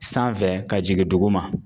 Sanfɛ ka jigin duguma